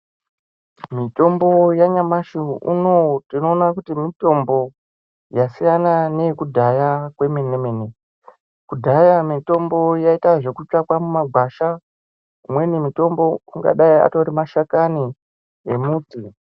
Mitombo yanyamashi unowu tinoona kuti mitombo yasiyana neyekudhaya kwemene mene kudhaya mitombo yaita yekutsvaka mumagwasha imweni mitombo angadai Ari mashakani nemuti.